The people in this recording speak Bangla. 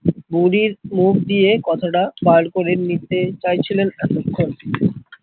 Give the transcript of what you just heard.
বুড়ির মুখ দিয়ে কথাটা বার করে নিতে চাইছিলেন এতক্ষন